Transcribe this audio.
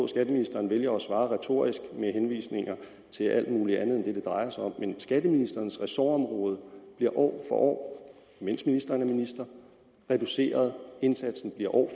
skatteministeren vælger at svare retorisk med henvisninger til alt mulig andet end det det drejer sig om men skatteministerens ressortområde bliver år for år mens ministeren er minister reduceret indsatsen bliver år